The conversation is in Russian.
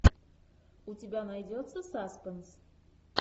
у тебя найдется саспенс